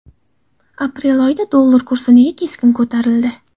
Aprel oyida dollar kursi nega keskin ko‘tarildi?.